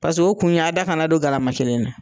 Paseke o kun ye a da kana don garalama kelen na.